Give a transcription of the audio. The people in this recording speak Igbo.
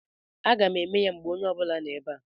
Aga m eme ya mgbe onye ọ bụla nọ ebe a.